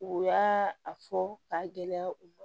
U y'a a fɔ k'a gɛlɛya u ma